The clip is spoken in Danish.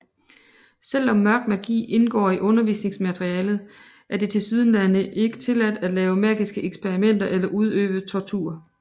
Selvom Mørk Magi indgår i undervisningsmaterialet er det tilsyneladende ikke tilladt at lave magiske eksperimenter eller udøve tortur